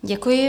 Děkuji.